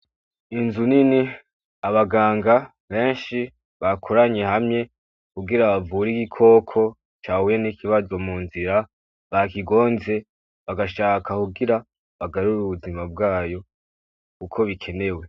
Inzu nini , abaganga benshi , bakoranye hamwe kugira bavure Igikoko cahuye n’ ikibazo mu nzira , bakigonze bagashaka kugira bagarure ubuzima bwaco Kuko bikenewe.